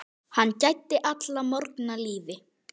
Hann gæddi alla morgna lífi.